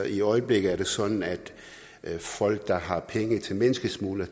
i øjeblikket er det sådan at folk der har penge til menneskesmuglere